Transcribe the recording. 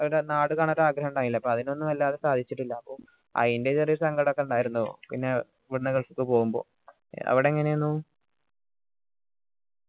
നാട് കാണാൻ ഒരു ആഗ്രഹം ഇണ്ടായില്ലെ അപ്പൊ അതിനൊന്നും എലാതിനും സാധിച്ചിട്ടില്ല അപ്പൊ അയിന്റെ ഒരു ചെറിയ സങ്കടം ഒക്കെ ഇണ്ടായിരുന്നു പിന്നെ ഇവിടുന്ന് gulf ക്ക് പോകുമ്പോ അവിടെ എങ്ങനെന്നു